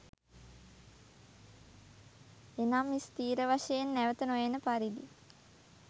එනම් ස්ථිර වශයෙන් නැවත නොඑන පරිදි